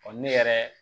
ne yɛrɛ